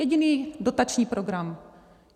Jediný dotační program.